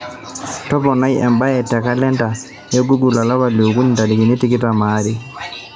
toponai embae te kalenda ai e google olapa liokuni ntarikini tikitam aare